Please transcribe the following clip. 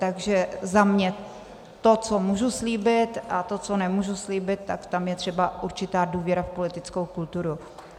Takže za mě to, co můžu slíbit, a to, co nemůžu slíbit, tak tam je třeba určitá důvěra v politickou kulturu.